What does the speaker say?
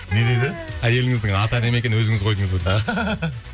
не дейді әйеліңіздің аты әдемі екен өзіңіз қойдыңыз ба